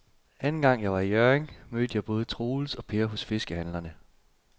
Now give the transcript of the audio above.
Anden gang jeg var i Hjørring, mødte jeg både Troels og Per hos fiskehandlerne.